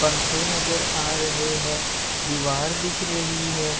पंखे नजर आ रहे हैं। दीवार दिख रही है।